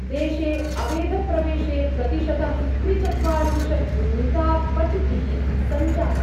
देशे अवेधप्रवेशे प्रतिशतं त्रिचत्वारिंशत् मितापचिति: सञ्जाता।